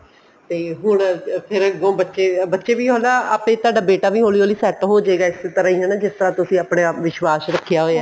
ਤੇ ਹੁਣ ਫੇਰ ਅੱਗੋਂ ਬੱਚੇ ਬੱਚੇ ਵੀ ਆਪੇ ਤੁਹਾਡਾ ਬੇਟਾ ਵੀ ਹੋਲੀ ਹੋਲੀ set ਹੋਜੇਗਾ ਇਸੇ ਤਰ੍ਹਾਂ ਹੀ ਜਿਸ ਤਰ੍ਹਾਂ ਤੁਸੀਂ ਆਪਣੇ ਆਪ ਵਿਸ਼ਵਾਸ ਰੱਖਿਆ ਹੋਇਆ